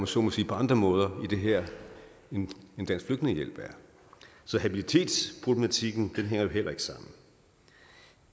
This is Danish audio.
så må sige på andre områder i det her end dansk flygtningehjælp er så habilitetsproblematikken hænger heller ikke sammen